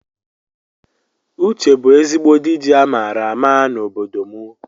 Uche bu ezigbo dịji amara àmà na ọbọdọ mụ